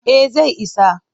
Eh zai isa.